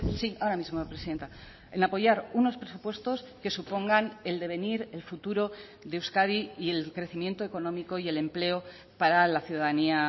sí ahora mismo presidenta en apoyar unos presupuestos que supongan el devenir el futuro de euskadi y el crecimiento económico y el empleo para la ciudadanía